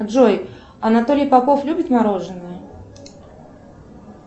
джой анатолий попов любит мороженое